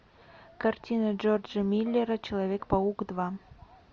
картина джорджа миллера человек паук два